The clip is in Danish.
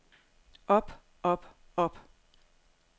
op op op